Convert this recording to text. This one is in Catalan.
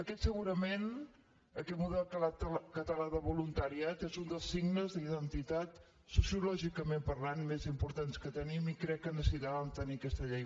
aquest segurament aquest model català de voluntariat és un dels signes d’identitat sociològicament parlant més importants que tenim i crec que necessitàvem tenir aquesta llei